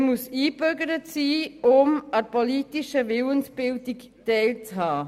Man muss eingebürgert sein, um an der politischen Willensbildung teilzuhaben.